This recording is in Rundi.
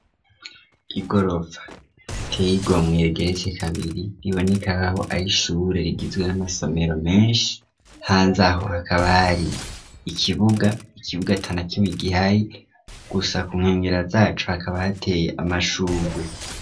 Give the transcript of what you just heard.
Igorofa riteye igomwe rigeretse kabiri riboneka nkaho ari ishure rigizwe amasomero menshi, hanze aho, hakaba hari ikibuga, ikibuga atanakimwe gihari, gusa ku nkengera zaco hakaba hateye amashurwe.